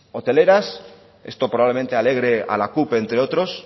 hoteleras esto probablemente alegre a la cup entre otros